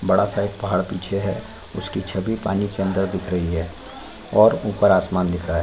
बड़ा सा एक पहाड़ पीछे है उसकी छवि पानी के अन्दर दिख रही है और ऊपर आसमान दिख रहा है।